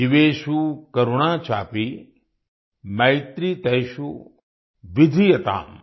जीवेषु करुणा चापि मैत्री तेषु विधीयताम्